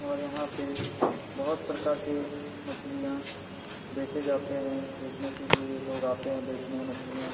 और यहां पे बहुत प्रकार के मछलियां बेचे जाते हैं बचने के लिए लोग आते हैं बेचने हैं मछलियां।